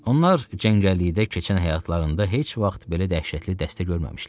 Onlar cəngəllikdə keçən həyatlarında heç vaxt belə dəhşətli dəstə görməmişdilər.